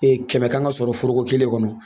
Ee kɛmɛ kan ka sɔrɔ foroko kelen kɔnɔ